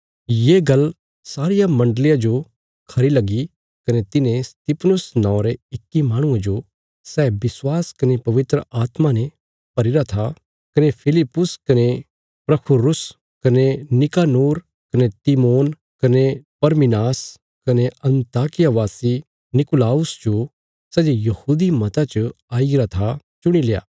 ये गल्ल सारिया मण्डलिया जो खरी लगी कने तिन्हें स्तिफनुस नौंवां रे इक्की माहणुये जो सै विश्वास कने पवित्र आत्मा ने भरीरा था कने फिलिप्पुस कने प्रुखुरुस कने नीकानोर कने तिमोन कने परमिनास कने अन्ताकिया वासी नीकुलाउस जो सै जे यहूदी मता च आईगरा था चुणील्या